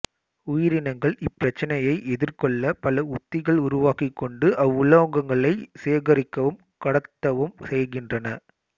உயிரினங்கள் இப்பிரச்சினையை எதிகொள்ள பல உத்திகளை உருவாக்கிக்கொண்டு அவ்வுலோகங்களை சேகரிக்கவும் கடத்தவும் செய்கின்றன